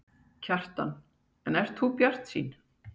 Kjartan: En ert þú bjartsýn?